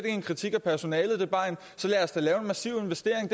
en kritik af personalet så lad os da lave en massiv investering